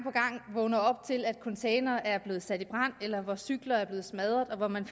vågner op til at containere er blevet sat i brand eller at cykler er blevet smadret og man